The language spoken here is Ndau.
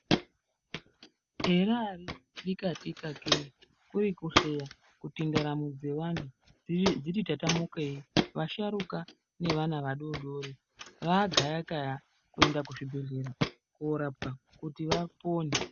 Eraa dikatika kee kuri kuhleya kuti ndaramo dzevanthu dziti tatamukei vasharuka nevana vadoodori raagaya gaya kuenda kuzvibhedhleya korapwa kuti vapone.